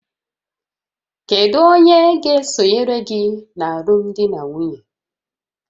Kedu onye ga-esonyere gị na alụmdi na nwunye?